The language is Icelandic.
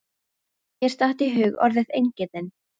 Mér datt í hug orðið eingetinn.